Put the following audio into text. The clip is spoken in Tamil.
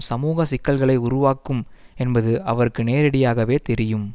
சமூக சிக்கல்களை உருவாக்கும் என்பது அவருக்கு நேரடியாகவே தெரியும்